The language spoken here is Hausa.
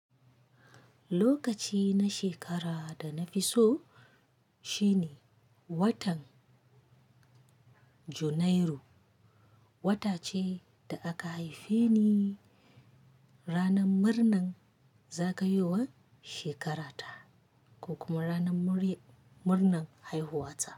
Lokaci na shekara da na fi so shine watan Janairu. Wata ce da aka haife ni. Ranar murnan zagayowan shekarata ko kuma ranar murnan haihuwata.